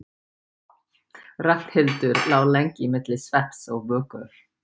Ragnhildur lá lengi milli svefns og vöku.